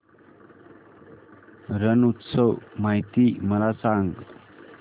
रण उत्सव माहिती मला सांग